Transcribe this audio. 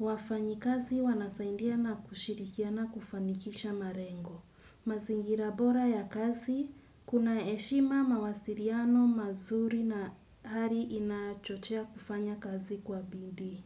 wafanyakazi wanasaidiana kushirikiana kufanikisha malengo mazingira bora ya kazi, kuna heshima mawasiriano mazuri na hari inaa chochea kufanya kazi kwa bidii.